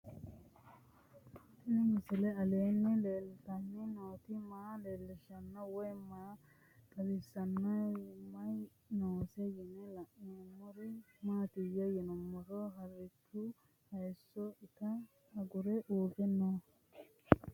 Tenni misile aleenni leelittanni nootti maa leelishshanno woy xawisannori may noosse yinne la'neemmori maattiya yinummoro harichchu hayiisso itta agure uure noo